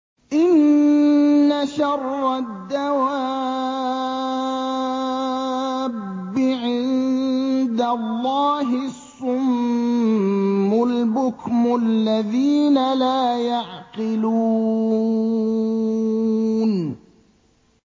۞ إِنَّ شَرَّ الدَّوَابِّ عِندَ اللَّهِ الصُّمُّ الْبُكْمُ الَّذِينَ لَا يَعْقِلُونَ